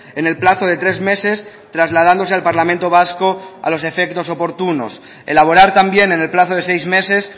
en el plazo de tres meses trasladándose al parlamento vasco a los efectos oportunos elaborar también en el plazo de seis meses